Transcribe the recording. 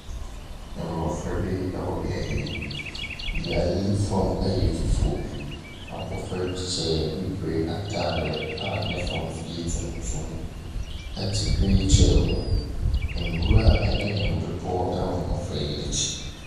Mmɔfra bi wɔ beaeɛ yi, beaeɛ yi fam yɛ fufuo. Abɔfra bi hyɛ bibire ataare a ne fam no yɛ tuntum te wheelchair mu. Nwura ne mmepɔ wɔ mmɔfra yi akyi.